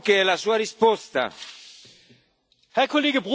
Herr Kollege Brok, Ihre Frage ist mir freilich entgangen.